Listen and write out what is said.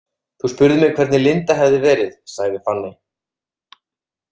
Þú spurðir mig hvernig Linda hefði verið, sagði Fanney.